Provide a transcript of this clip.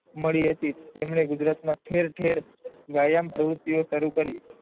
મળી હતી તેમણે ગુજરાતમાં ઠેર ઠેર યાયામ પ્રવુતિઓ સરું કરી.